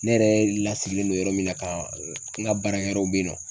Ne yɛrɛ lasigilen don yɔrɔ min na ka n ka baara yɔrɔw bɛ yen nɔ.